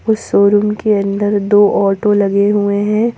इस शोरूम के अंदर दो ऑटो लगे हुए हैं।